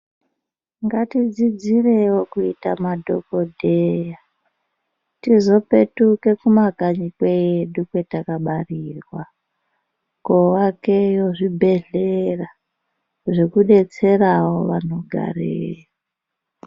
Ngatidzidzirewo kuita madhokodheya tizopetuka kumakanyi kwedu kwatakabarirwa kovakawo zvibhedhlera zvekudetsera vanogarayo.